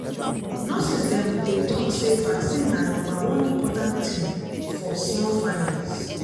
nurses dem dey talk say vaccine na number one important thing for small families.